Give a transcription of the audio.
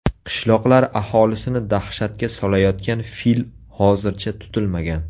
Qishloqlar aholisini dahshatga solayotgan fil hozircha tutilmagan.